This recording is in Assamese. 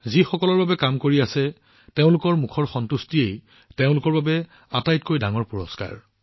যিসকলৰ বাবে তেওঁলোকে কাম কৰি আছে তেওঁলোকৰ মুখত সন্তুষ্টিয়েই তেওঁলোকৰ বাবে আটাইতকৈ ডাঙৰ পুৰস্কাৰ